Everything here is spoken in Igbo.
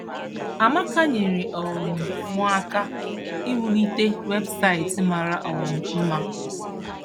“Amaka nyeere um m aka iwulite webụsaịtị mara um mma.